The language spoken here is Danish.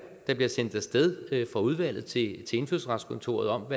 der bliver sendt af sted fra udvalget til til indfødsretskontoret om